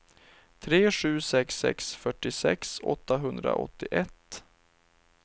tre sju sex sex fyrtiosex åttahundraåttioett